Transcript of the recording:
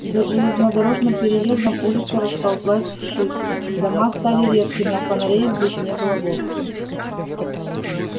за железнодорожным переездом улица расползлась вширь дома стали редкими а фонарей здесь не было вовсе